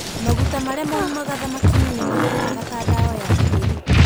Maguta marĩa maumaga thamaki-inĩ nĩ mahũthĩkaga ta ndawa ya gĩthũri.